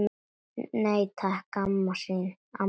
Nei, takk, amma mín.